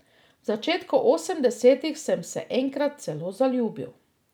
V začetku osemdesetih sem se enkrat celo zaljubil.